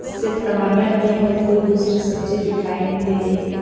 सिर्फ टमाटर ही हैं और कोई दूसरी सब्जी दिखाई नहीं दे रही है।